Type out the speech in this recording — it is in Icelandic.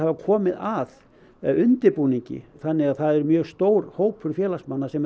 komið að undirbúningi þannig að það er mjög stór hópur félagsmanna sem